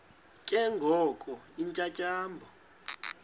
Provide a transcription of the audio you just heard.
ke ngoko iintyatyambo